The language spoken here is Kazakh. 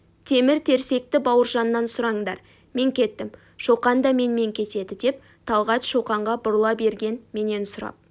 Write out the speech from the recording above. темір-терсекті бауыржаннан сұраңдар мен кеттім шоқан да менімен кетеді деп талғат шоқанға бұрыла берген менен сұрап